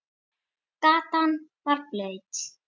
Gatan var blaut.